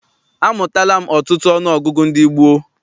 Amụtala m ọtụtụ ọnụọgụgụ ndị gboo.